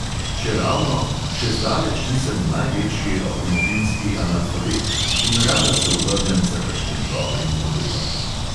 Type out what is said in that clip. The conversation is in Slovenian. Čeravno – še zdaleč nisem največji avtomobilski analfabet in rada se obrnem za kakšnim dobrim modelom.